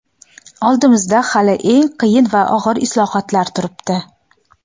Oldimizda hali eng qiyin va og‘ir islohotlar turibdi.